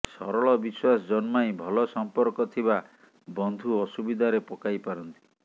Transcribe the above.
ସରଳ ବିଶ୍ୱାସ ଜନ୍ମାଇ ଭଲ ସମ୍ପର୍କ ଥିବା ବନ୍ଧୁ ଅସୁବିଧାରେ ପକାଇପାରନ୍ତି